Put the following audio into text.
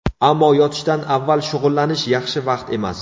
Ammo yotishdan avval shug‘ullanish yaxshi vaqt emas.